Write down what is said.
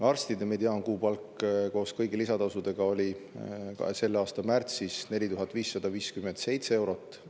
Arstide mediaankuupalk koos kõigi lisatasudega oli selle aasta märtsis 4557 eurot.